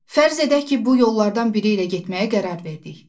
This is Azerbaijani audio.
Fərz edək ki, bu yollardan biri ilə getməyə qərar verdik.